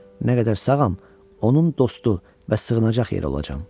Nə qədər sağam, onun dostu və sığınacaq yeri olacam.